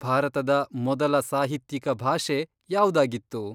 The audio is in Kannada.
ಭಾರತದ ಮೊದಲ ಸಾಹಿತ್ಯಿಕ ಭಾಷೆ ಯಾವ್ದಾಗಿತ್ತು?